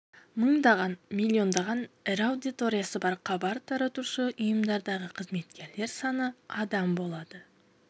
мыңдаған миллиондаған ірі аудиториясы бар хабар таратушы ұйымдардағы қызметкерлер саны адам болады